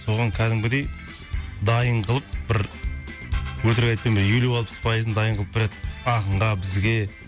оған кәдімгідей дайын қылып бір өтірік айтпаймын елу алпыс пайызын дайын қылып береді ақынға бізге